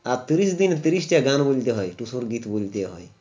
আর তিরিশ দিন তিরিশটা গান বুনতে হয় টুসুর গীত বুনতে হয়